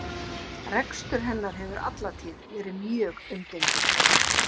Rekstur hennar hefur alla tíð verið mjög umdeildur.